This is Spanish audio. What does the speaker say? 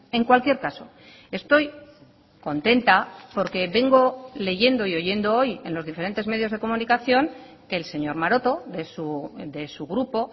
en cualquier caso estoy contenta porque vengo leyendo y oyendo hoy en los diferentes medios de comunicación que el señor maroto de su grupo